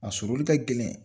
A sɔrɔli ka gɛlɛn